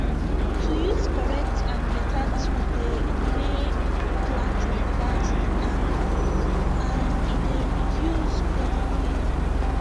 to use correct and beta tool dey may planting fast and and e d reduce body pain